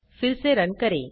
फिर से रन करें